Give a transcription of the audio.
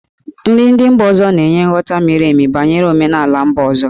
Nri ndị mba ọzọ na-enye nghọta miri emi banyere omenala mba ọzọ.